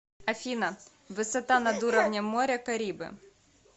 афина высота над уровнем моря карибы